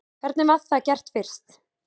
Hvernig var það gert fyrst?